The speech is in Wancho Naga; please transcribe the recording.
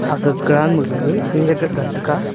agah ground ma gaga khenek gaga tega.